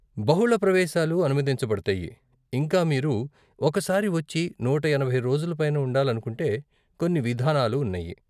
బహుళ ప్రవేశాలు అనుమతించబడతాయి, ఇంకా మీరు ఒక సారి వచ్చి నూట ఎనభై రోజుల పైన ఉండాలనుకుంటే కొన్ని విధానాలు ఉన్నాయి.